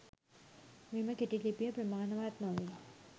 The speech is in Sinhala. මෙම කෙටි ලිපිය ප්‍රමාණවත් නොවේ.